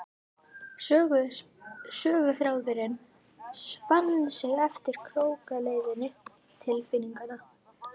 Söguþráðurinn spann sig eftir krókaleiðum tilfinninganna.